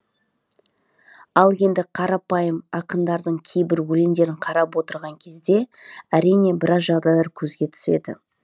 ал енді қарапайым ақындардың кейбір өлеңдерін қарап отырған кезде әрине біраз жағдайлар көзге түседі